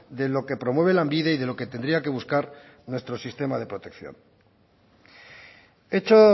de lo que promueve lanbide y de lo que tendría que buscar nuestro sistema de protección echo